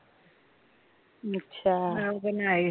ਅੱਛਾ